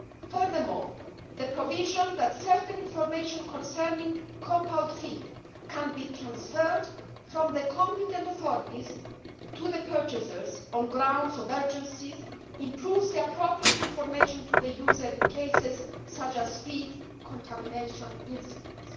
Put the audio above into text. Furthermore, the provision that certain information concerning compound feed can be transferred from the competent authorities to the purchasers on grounds of urgency improves the appropriate information to the user in cases such as feed contamination incidents.